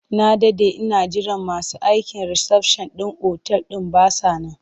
Na daɗe ina jiran masu aikin risafshan ɗin otal ɗin ba sa nan.